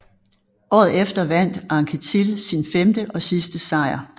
Året efter vandt Anquetil sin femte og sidste sejr